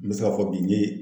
N be se k'a fɔ bi n ye